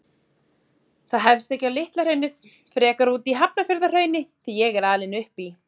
Það hefst ekki á Litla-Hrauni, frekar úti í Hafnarfjarðarhrauni, því ég er alinn upp í